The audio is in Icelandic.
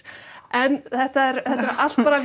en þetta eru allt bara